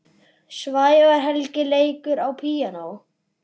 Sævar Helgi leikur á píanó.